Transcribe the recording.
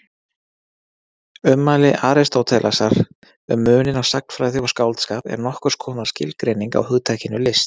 Ummæli Aristótelesar um muninn á sagnfræði og skáldskap eru nokkurs konar skilgreining á hugtakinu list.